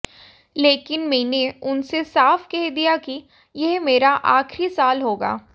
लेकिन मैंने उनसे साफ़ कह दिया कि यह मेरा आख़िरी साल होगा